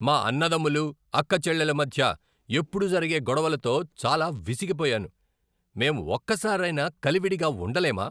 మా అన్నదమ్ములు, అక్కచెల్లెళ్ళ మధ్య ఎప్పుడూ జరిగే గొడవలతో చాలా విసిగిపోయాను. మేం ఒక్కసారైనా కలివిడిగా ఉండలేమా?